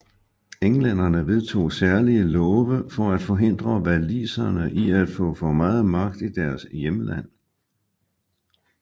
Englænderne vedtog særlige love for at forhindre waliserne i at få for meget magt i deres hjemland